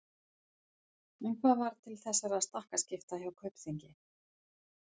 En hvað varð til þessara stakkaskipta hjá Kaupþingi?